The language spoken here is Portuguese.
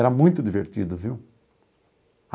Era muito divertido, viu?